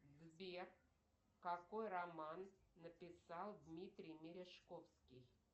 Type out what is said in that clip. сбер какой роман написал дмитрий мережковский